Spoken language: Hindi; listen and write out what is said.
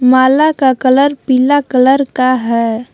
माला का कलर पीला कलर का है।